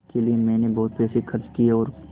इसके लिए मैंने बहुत पैसे खर्च किए हैं और